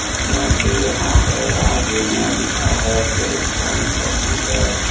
इसमें से यहां पर आगे में लिखा है हेल्थ प्वाइंट हॉस्पिटल ।